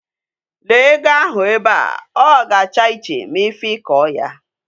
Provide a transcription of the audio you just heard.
Lee ego ahu be a! O ga-acha iche ma ifikoo yaa.